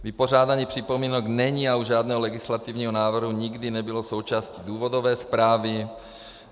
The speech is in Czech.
Vypořádání připomínek není a u žádného legislativního návrhu nikdy nebylo součástí důvodové zprávy.